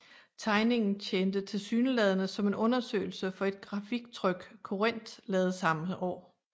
Tegningen tjente tilsyneladende som en undersøgelse for et grafiktryk Corinth lavede samme år